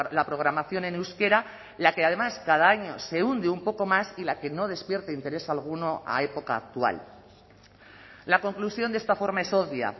la programación en euskera la que además cada año se hunde un poco más y la que no despierta interés alguno a época actual la conclusión de esta forma es obvia